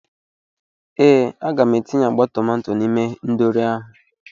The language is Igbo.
Ee, M ga-etinye agba tomato n'ime ihendori ahụ.